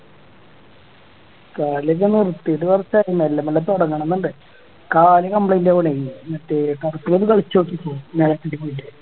കളിയൊക്കെ നിർത്തിട്ട് കൊറച്ചായി മെല്ലെ മെല്ലെ തുടങ്ങണം എന്നുണ്ട് കാല് complaint ആവണേ മറ്റേ